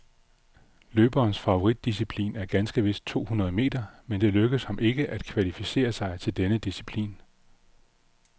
Løberens favoritdisciplin er ganske vist to hundrede meter, men det lykkedes ham ikke at kvalificere sig til denne disciplin.